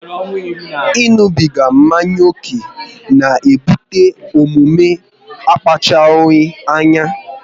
ịṅụbiga mmanya ókè na ebute omume akpachapụghị anya